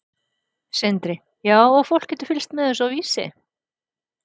Sindri: Já og fólk getur fylgst með þessu á Vísi?